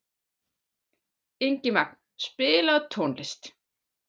Ingimagn, spilaðu tónlist.